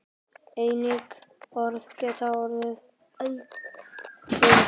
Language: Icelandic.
Einnig orð geta orðið eldfim.